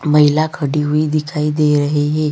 महिला खड़ी हुई दिखाई दे रहे है।